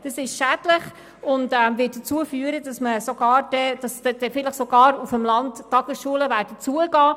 Das ist schädlich und wird dazu führen, dass auf dem Land vielleicht sogar Tagesschulen schliessen werden.